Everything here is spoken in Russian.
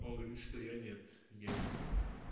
он говорит что я нет я не сука